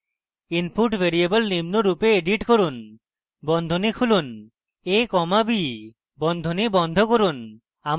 input variable নিম্নরূপে edit করুন বন্ধনী খুলুন a comma b বন্ধনী বন্ধ করুন